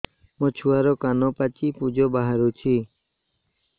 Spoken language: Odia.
ମୋ ଛୁଆର କାନ ପାଚି ପୁଜ ବାହାରୁଛି